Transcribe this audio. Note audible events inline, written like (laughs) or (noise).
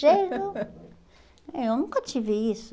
Cheio de... (laughs) é, Eu nunca tive isso.